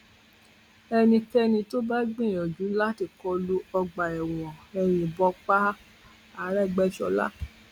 ẹnikẹni tó bá gbìyànjú láti kọ lu ọgbà ẹwọn ẹ yìnbọn pa áarégbèṣọla